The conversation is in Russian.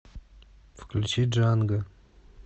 включи джанго